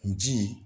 N ji